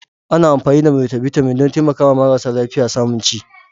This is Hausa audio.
Ana amfani da Multivitamin don taimakawa marasa lafiya samun ci.